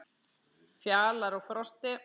Fjalar og Frosti